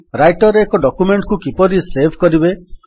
Writer ରେ ଏକ document କୁ କିପରି ସେଭ୍ କରିବେ